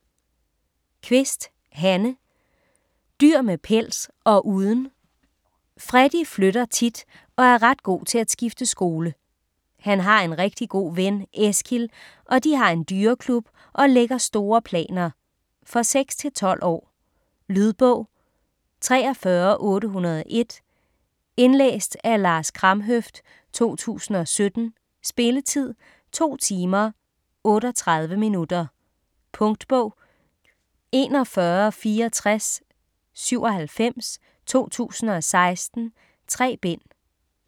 Kvist, Hanne: Dyr med pels - og uden Freddy flytter tit og er ret god til at skifte skole. Han har en rigtig god ven, Eskild, og de har en dyreklub og lægger store planer. For 6-12 år. Lydbog 43801 Indlæst af Lars Kramhøft, 2017. Spilletid: 2 timer, 38 minutter. Punktbog 416497 2016. 3 bind.